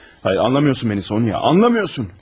Hayır, hayır anlamıyorsun məni, Sonıya, anlamıyorsun!